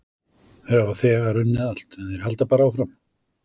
Þeir hafa þegar unnið allt en þeir halda bara áfram.